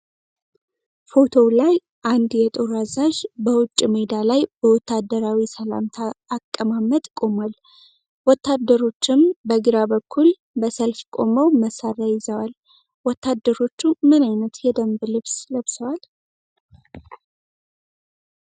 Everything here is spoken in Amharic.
ፎቶው ላይ አንድ የጦር አዛዥ በውጭ ሜዳ ላይ በወታደራዊ ሰላምታ አቀማመጥ ቆሟል። ወታደሮችም በግራ በኩል በሰልፍ ቆመው መሳሪያ ይዘዋል። ወታደሮቹ ምን ዓይነት የደንብ ልብስ ለብሰዋል?